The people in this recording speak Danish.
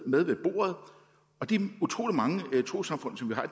med ved bordet de utrolig mange trossamfund som vi har